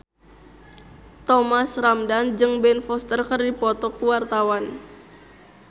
Thomas Ramdhan jeung Ben Foster keur dipoto ku wartawan